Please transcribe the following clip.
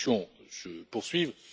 jours. Les discussions se poursuivent.